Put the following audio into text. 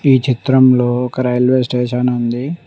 ఈ చిత్రంలో ఒక రైల్వే స్టేషన్ ఉంది.